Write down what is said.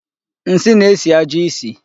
Nsi na-esi ajo isi.